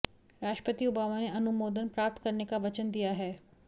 राष्ट्रपति ओबामा ने अनुमोदन प्राप्त करने का वचन दिया है